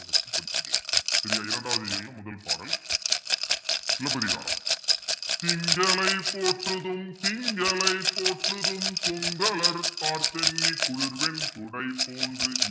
சரியா இரண்டாவது இயல்ல முதல் பாடல் சிலப்பதிகாரம் திங்களை போற்றுதும் திங்களை போற்றுதும் கொங்கலர்த்தார்ச் சென்னி குளிர்வெண் குடைபோன்றிவ்